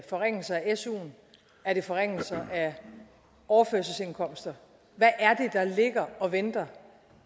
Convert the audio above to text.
forringelser af suen er det forringelser af overførselsindkomster hvad er det der ligger og venter